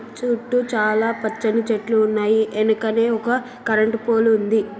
చుట్టూ చాలా పచ్చని చెట్లు ఉన్నాయి. ఎనకనే ఒక కరెంట్ పోల్ ఉంది.